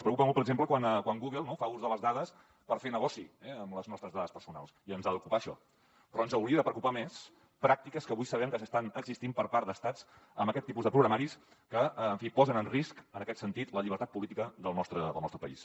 els preocupa molt per exemple quan google no fa ús de les dades per fer negoci eh amb les nostres dades personals i ens ha d’ocupar això però ens haurien de preocupar més pràctiques que avui sabem que estan existint per part d’estats amb aquest tipus de programaris que en fi posen en risc en aquest sentit la llibertat política del nostre país